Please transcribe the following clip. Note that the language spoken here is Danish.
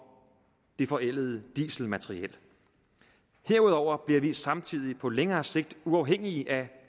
det forældede dieselmateriel herudover bliver vi samtidig på længere sigt uafhængige af